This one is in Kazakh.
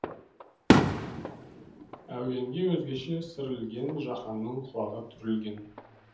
әуенге өзгеше сыр ілгенжаһанның құлағы түрілген